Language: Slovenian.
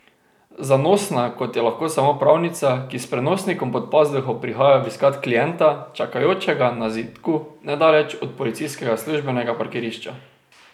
Zanosna, kot je lahko samo pravnica, ki s prenosnikom pod pazduho prihaja obiskat klienta, čakajočega na zidku nedaleč od policijskega službenega parkirišča.